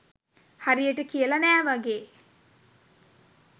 හරියට කියල නෑ වගේ.